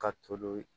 Ka to don